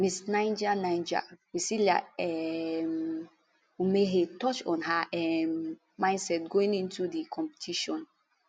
miss niger niger priscillia um umehea touch on her um mindset going into to di competition